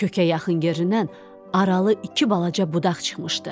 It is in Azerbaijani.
Kökə yaxın yerindən aralı iki balaca budaq çıxmışdı.